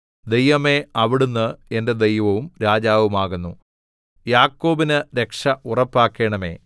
ദൈവമേ അവിടുന്ന് എന്റെ ദൈവവും രാജാവുമാകുന്നു യാക്കോബിന് രക്ഷ ഉറപ്പാക്കണമേ